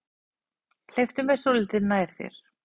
Hleyptu mér svolítið nær þér.